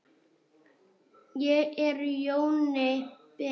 Ég er Jóni Ben.